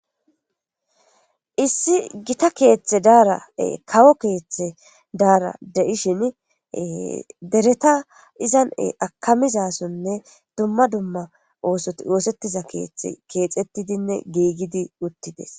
issi gita keeththe daara7e kawo keeththe daara de7ishin dereta izan akamizasonne dumma dumma oosoti oosettiza keeththe keexettidinne giigidi uttides